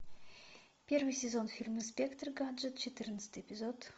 первый сезон фильма инспектор гаджет четырнадцатый эпизод